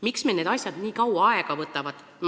Miks meil need asjad nii kaua aega võtavad?